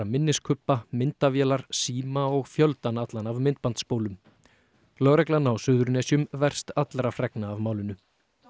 minniskubba myndavélar síma og fjöldann allan af myndbandsspólum lögreglan á Suðurnesjum verst allra fregna af málinu